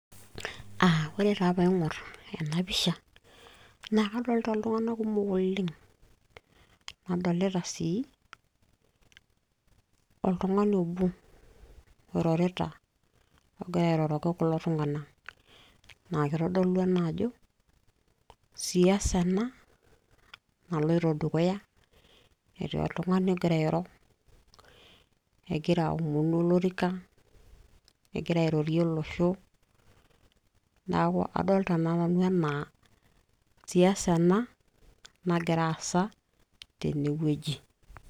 aa ore taaa pee aing'or ena pisha naa kadolita iltung'anak kumok oleng'.nadolita sii oltungani obo, oirorita ogira airoroki kulo tung'anak, naa kitodolu ena ajo, siasa ena naloito dukuya, netii oltungani ogira airo, egira aomonu olrika egira airorie oloesho. neeku kadoolta nanu anaa siasa ena nagira aasa tene wueji.